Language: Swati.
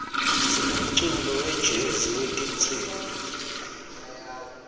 sinemculo wejezi wetinsimbi